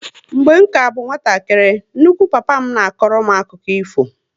Mgbe ka abụ nwatakịrị, nnukwu papa m na akọrọ m akụkụ ifo